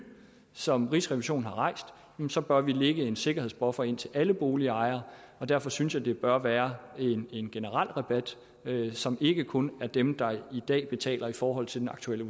som rigsrevisionen har rejst så bør vi lægge en sikkerhedsbuffer ind til alle boligejere og derfor synes jeg det bør være en generel rabat som ikke kun dem der i dag betaler i forhold til den aktuelle